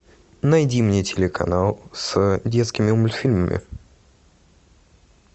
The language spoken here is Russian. найди мне телеканал с детскими мультфильмами